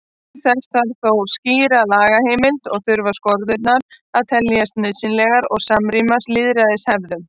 Til þess þarf þó skýra lagaheimild og þurfa skorðurnar að teljast nauðsynlegar og samrýmast lýðræðishefðum.